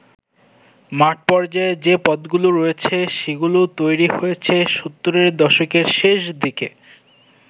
মাঠ পর্যায়ে যে পদগুলো রয়েছে, সেগুলো তৈরী হয়েছে সত্তরের দশকের শেষদিকে।